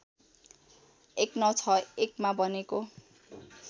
१९६१ मा बनेको